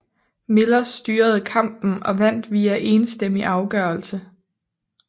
Miller styrede kampen og vandt via enstemmig afgørelse